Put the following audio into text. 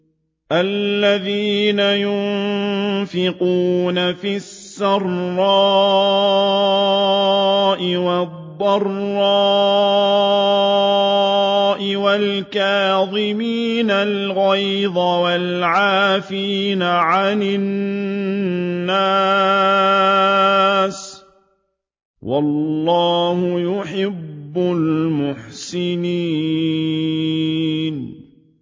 الَّذِينَ يُنفِقُونَ فِي السَّرَّاءِ وَالضَّرَّاءِ وَالْكَاظِمِينَ الْغَيْظَ وَالْعَافِينَ عَنِ النَّاسِ ۗ وَاللَّهُ يُحِبُّ الْمُحْسِنِينَ